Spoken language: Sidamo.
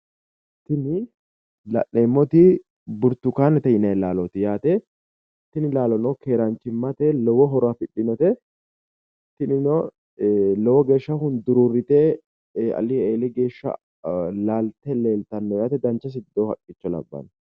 Tini la'neemmoti burtukaanete yinanni laalooti yaate. Tini laalono keeraanchimmate lowo horo afidhino yaate isen lowo geeshsha hunduruurrite alii eeli geeshsha laalte leellitanno yaate dancha sircho labbanno.